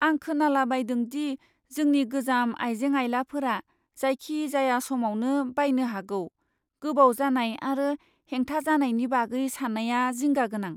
आं खोनालाबायदों दि जोंनि गोजाम आइजें आइलाफोरा जायखिजाया समावनो बायनो हागौ। गोबाव जानाय आरो हेंथा जानायनि बागै साननाया जिंगा गोनां।